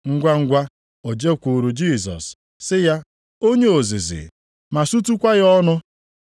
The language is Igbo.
Ngwangwa o jekwuuru Jisọs, sị ya, “Onye ozizi!” ma sutukwa ya ọnụ.